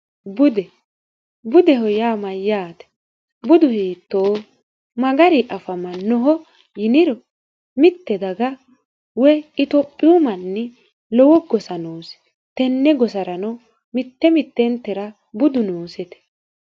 bude budeho yaa mayyaate budu hiitto magari afamannoho yiniro mitte daga woy itophiyu manni lowo gosa noose tenne gosarano mitte mitteentera budu noosete